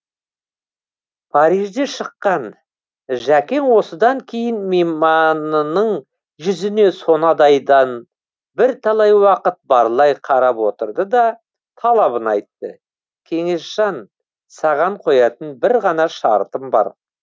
парижде шыққан жәкең осыдан кейін мейманының жүзіне сонадайдан бірталай уақыт барлай қарап отырды да талабын айтты кеңесжан саған қоятын бір ғана шартым бар